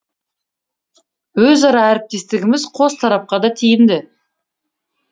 өзара әріптестігіміз қос тарапқа да тиімді